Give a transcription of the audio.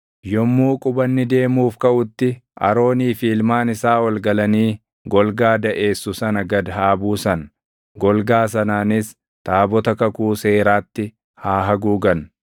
Yommuu qubanni deemuuf kaʼutti Aroonii fi ilmaan isaa ol galanii golgaa daʼeessu sana gad haa buusan; golgaa sanaanis taabota kakuu seeraatti haa haguugan.